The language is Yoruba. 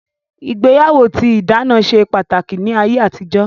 Ìgbéyàwó tí ìdáná ṣe pàtàkì ní ayé àtijó